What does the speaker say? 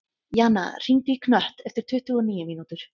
Jana, hringdu í Knött eftir tuttugu og níu mínútur.